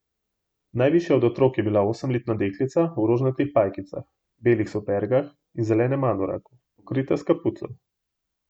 Najvišja od otrok je bila osemletna deklica v rožnatih pajkicah, belih supergah in zelenem anoraku, pokrita s kapuco.